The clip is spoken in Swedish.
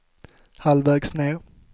halvvägs ned